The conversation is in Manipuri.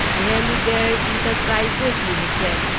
Religare Enterprises limited